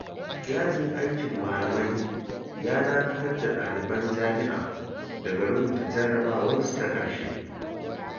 Yajin aikin malamai ya dakatar da ɗaliban Jami'a daga rubuta jarabawarsu ta ƙarshe.